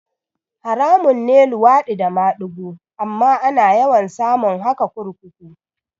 Haramun ne luwaɗi da madigo amma ana yawan samun haka kurkuku